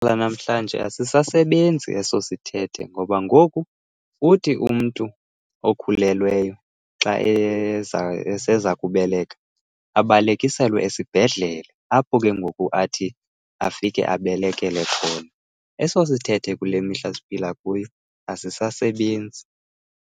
Lanamhlanje asisasebenzi eso sithethe ngoba ngoku uthi umntu okhulelweyo xa eseza kubeleka, abalekiselwe esibhedlele apho ke ngoku athi afike abelekele khona. Eso sithethe kule mihla siphila kuyo asisasasebenzi.